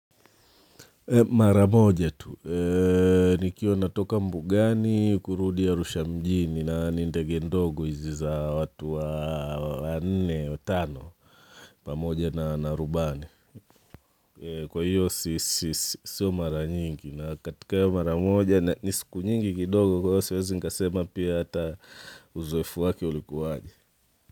Maramoja tu nikiwa natoka Mbugani kurudi arusha mjini na ni ndege ndogo hizi za watu wanne watano pamoja na rubani, kwa hiyo siyo mara nyingi na katika hiyo maramoja ni siku nyingi kidogo kwa hiyo siwezi nikasema pia hata uzoefu wake ulikuwaje.